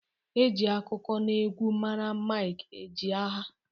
E ji akụkọ n'egwu mara Mike Ejeagha.